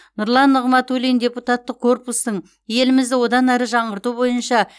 нұрлан нығматулин депутаттық корпустың елімізді одан әрі жаңғырту бойынша